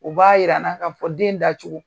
U b'a yira n'a ka fɔ den dacogo